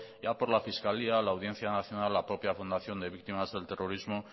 ya por la fiscalía la audiencia nacional la propia fundación de víctimas del terrorismo